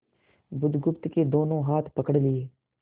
बुधगुप्त के दोनों हाथ पकड़ लिए